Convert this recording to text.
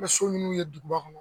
I bɛ so minnu ye duguba kɔnɔ